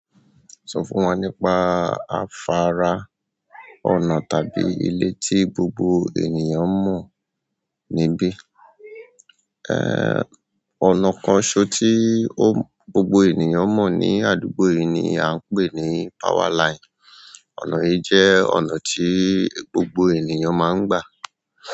Sọ fún wọn nípa afárá, ọ̀nà tàbí ilé tí gbogbo ènìyàn mọ́ níbí. Ẹ́ ọnà kan ṣó tí ó gbogbo ènìyàn mọ̀ ní àdúgbò yìí ni à ń pè ní powerline. Ọ̀nà yìí jẹ́ ọ̀nà tí gbogbo ènìyàn máa ń gbà.